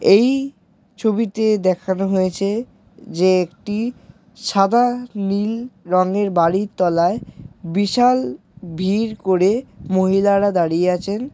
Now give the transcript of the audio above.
এই ছবিতে দেখানো হয়েছে যে একটি সাদা নীল রঙের বাড়ি তলায় বিশাল ভিড় করে মহিলারা দাঁড়িয়ে আছেন ।